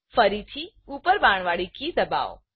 ફરીથી ઉપર બાણવાડી કી દબાવો